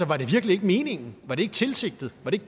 var det virkelig ikke meningen var det ikke tilsigtet var det